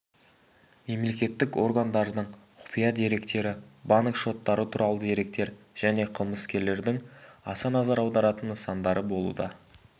мемлекеттік органдардың құпия деректері банк шоттары туралы деректер және қылмыскерлердің аса назар аударатын нысандары болуда